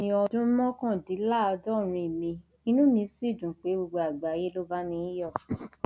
ọjọòbí yìí ní ọdún mọkàndínláàádọrin mi inú mi sì dùn pé gbogbo àgbáyé ló ń bá mi yọ